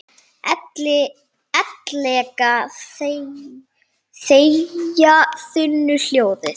Ellegar þegja þunnu hljóði?